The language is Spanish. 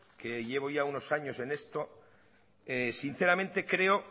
que llevo ya unos años en esto sinceramente creo